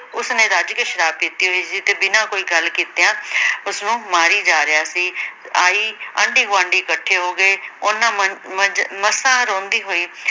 ਉਸ ਰੱਜ ਕੇ ਸ਼ਰਾਬ ਪੀਤੀ ਹੋਈ ਸੀ ਤੇ ਬਿਨਾਂ ਕੋਈ ਗੱਲ ਕੀਤਿਆਂ ਉਸਨੂੰ ਮਾਰੀ ਜਾ ਰਿਹਾ ਸੀ, ਆਈ ਆਂਢੀ ਗੁਆਂਢੀ ਇਕੱਠੇ ਹੋ ਗਏ। ਉਹਨਾਂ ਮ ਮੰਜ ਮਸਾਂ ਰੋਂਦੀ ਹੋਈ